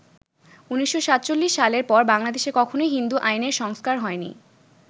১৯৪৭ সালের পর বাংলাদেশে কখনই হিন্দু আইনের সংস্কার হয়নি।